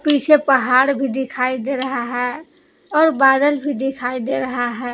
पीछे पहाड़ भी दिखाई दे रहा है और बादल भी दिखाई दे रहा है।